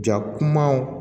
Ja kumaw